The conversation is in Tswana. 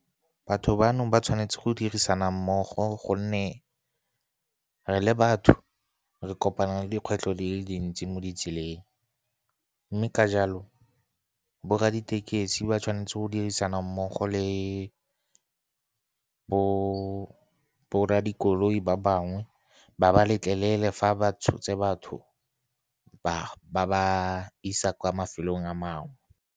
Batho bano ba tshwanetse go dirisana mmogo, gonne re le batho re kopana le dikgwetlho di le dintsi mo ditseleng. Mme ka jalo, borra ditekesi ba tshwanetse go dirisana mmogo le borra dikoloi ba bangwe, ba ba letlelele fa ba tshotse batho ba ba isa kwa mafelong a mangwe.